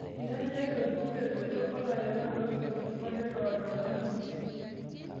Eitobira ilo jukwaa eboita oo larewak loo ltukutuki oo lelo loonap ninche